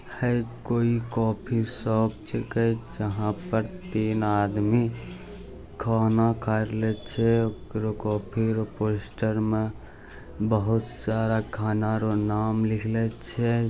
है कोई coffee shop जेकै जहाँ पर तीन आदमी खाना खा रहलै छे कॉफ़ी रो पोस्टर मा बहुत सारा खाना रो नाम लिखले छे |